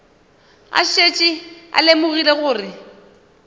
a šetše a lemogile gore